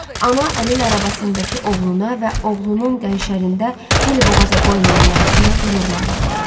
Ana əlil arabasındakı oğluna və oğlunun qənşərində dilboğaza qoymayan nəvəsinə qürurla baxırdı.